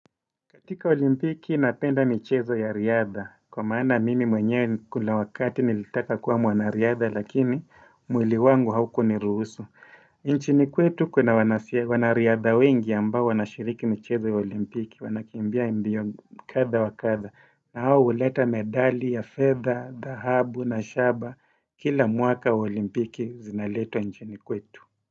Katika olimpiki napenda michezo ya riadha, kwa maana mimi mwenyewe kuna wakati nilitaka kuwa mwanariadha lakini mwili wangu haukuniruhusu. Nchini kwetu kuna wanariadha wengi ambao wanashiriki michezo ya olimpiki, wanakimbia mbio kadha wa kadha na hawa huleta medali ya fedha, dhahabu na shaba kila mwaka olimpiki zinaletwa nchini kwetu.